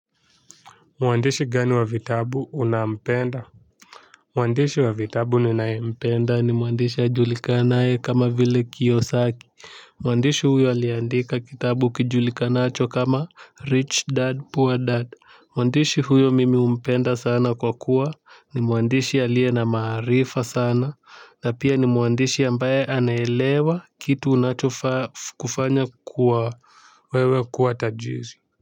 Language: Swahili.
Mwandishi gani wa vitabu unampenda? Mwandishi wa vitabu ninayempenda ni mwandishi ajulikane kama vile Kiyosaki. Mwandishi huyo aliandika kitabu kijulikanacho kama Rich dad poor dad. Mwandishi huyo mimi humpenda sana kwa kuwa ni mwandishi aliye na maarifa sana na pia ni mwandishi ambaye anaelewa kitu unachofaa kufanya kuwa wewe kuwa tajiri.